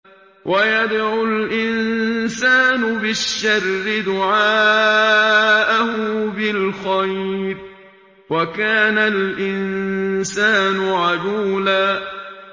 وَيَدْعُ الْإِنسَانُ بِالشَّرِّ دُعَاءَهُ بِالْخَيْرِ ۖ وَكَانَ الْإِنسَانُ عَجُولًا